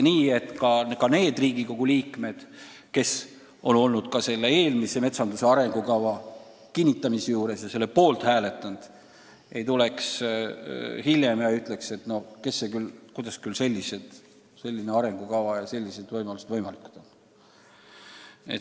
Kuidas tagada, et ka need Riigikogu liikmed, kes on metsanduse arengukava poolt hääletanud, ei tule hiljem küsima, kuidas küll selline arengukava ja sellised raievõimalused võimalikud on.